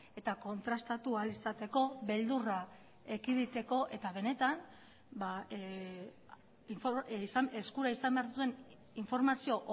eta kontrastatu ahal izateko beldurra ekiditeko eta benetan eskura izan behar duen informazio